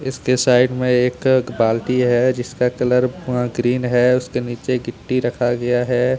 उसके साइड में एक बाल्टी है जिसका कलर ग्रीन है उसके नीचे गिट्टी रखा गया है।